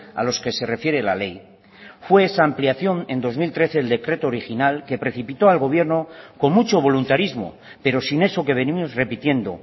a los que se refiere la ley fue esa ampliación en dos mil trece el decreto original que precipitó al gobierno con mucho voluntarismo pero sin eso que venimos repitiendo